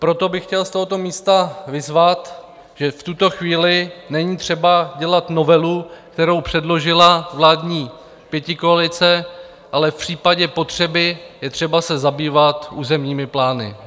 Proto bych chtěl z tohoto místa vyzvat, že v tuto chvíli není třeba dělat novelu, kterou předložila vládní pětikoalice, ale v případě potřeby je třeba se zabývat územními plány.